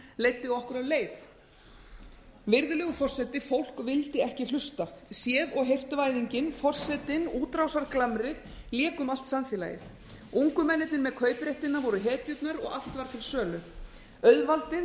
leiddi okkur af leið virðulegi forseti fólk vildi ekki hlusta séð og heyrt væðingin forsetinn útrásarglamrið léku um allt samfélagið ungu mennirnir með kaupréttinn voru hetjurnar og allt var til sölu auðvaldið